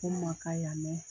O ma kan yan nɔ.